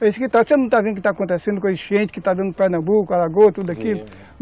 Você não está vendo o que está acontecendo com a enchente que está dando em Pernambuco, Alagoas, tudo aquilo?